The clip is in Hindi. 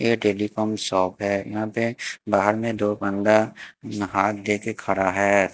ये टेलीफोन शॉप है यहां पे बाहर में दो बंदा नहा दे के खड़ा है।